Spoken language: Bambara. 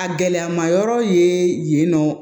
A gɛlɛmayɔrɔ ye yen nɔ